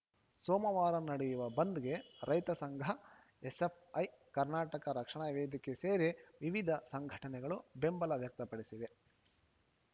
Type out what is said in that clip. ಸೋಮವಾರ ನಡೆಯುವ ಬಂದ್‌ಗೆ ರೈತಸಂಘ ಎಸ್‌ಎಫ್‌ಐ ಕರ್ನಾಟಕ ರಕ್ಷಣಾ ವೇದಿಕೆ ಸೇರಿ ವಿವಿಧ ಸಂಘಟನೆಗಳು ಬೆಂಬಲ ವ್ಯಕ್ತಪಡಿಸಿವೆ